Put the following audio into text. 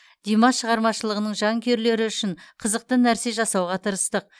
димаш шығармашылығының жанкүйерлері үшін қызықты нәрсе жасауға тырыстық